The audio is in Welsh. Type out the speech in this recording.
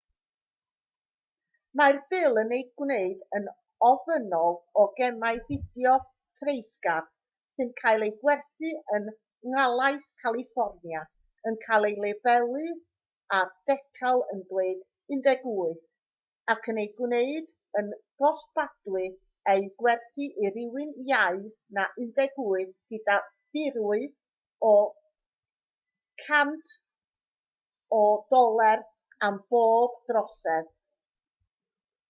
mae'r bil yn ei gwneud yn ofynnol o gemau fideo treisgar sy'n cael eu gwerthu yn nhalaith califfornia yn cael eu labelu â decal yn dweud 18 ac yn ei gwneud yn gosbadwy eu gwerthu i rywun iau na 18 gyda dirwy o $1000 am bob trosedd